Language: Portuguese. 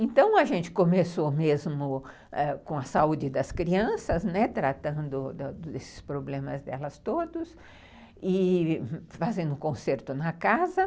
Então, a gente começou mesmo ãh com a saúde das crianças, né, tratando desses problemas delas todos e fazendo conserto na casa.